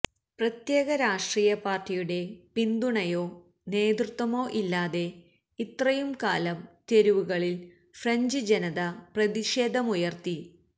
പ്രത്യേക രാഷ്ട്രീയ പാര്ട്ടിയുടെ പിന്തുണയോ നേതൃത്വമോ ഇല്ലാതെ ഇത്രയും കാലം തെരുവുകളില് ഫ്രഞ്ച് ജനത പ്രതിഷേധമുയര്ത്തി